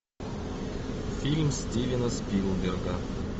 фильм стивена спилберга